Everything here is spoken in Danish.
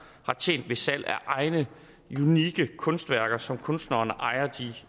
har tjent ved salg af egne unikke kunstværker som kunstneren ejer de